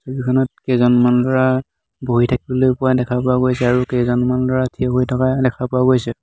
ফিল্ডখনত কেইজনমান ল'ৰা বহি থাকিবলৈ পোৱা দেখা পোৱা গৈছে আৰু কেইজনমান ল'ৰা থিয় হৈ থকা দেখা পোৱা গৈছে।